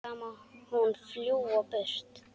Þá má hún fljúga burtu.